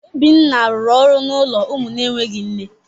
Obinna rụrụ ọrụ n’ụlọ ụmụ na-enweghị nne.